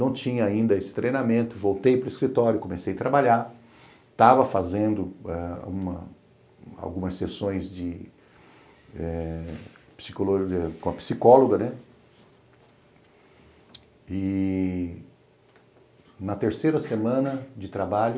Não tinha ainda esse treinamento, voltei para o escritório, comecei a trabalhar, estava fazendo eh algumas algumas sessões de eh com a psicóloga, né, e na terceira semana de trabalho,